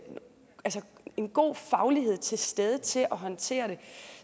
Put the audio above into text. en god faglighed til stede til at håndtere det